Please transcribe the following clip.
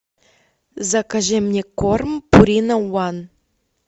закажи мне корм пурина ван